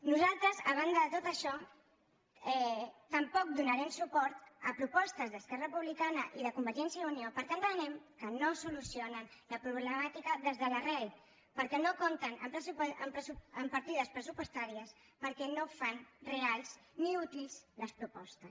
nosaltres a banda de tot això tampoc donarem suport a propostes d’esquerra republicana i de convergència i unió perquè entenem que no solucionen la problemàtica des de l’arrel perquè no compten amb partides pressupostàries perquè no fan reals ni útils les propostes